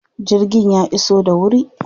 Jirgin ya iso da wuri?